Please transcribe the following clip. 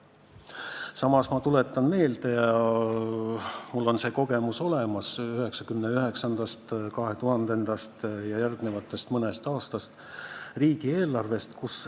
Samas on mul kogemus olemas seoses 1999., 2000. ja mõne järgmise aasta riigieelarvega.